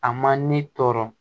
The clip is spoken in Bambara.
A ma ne tɔɔrɔ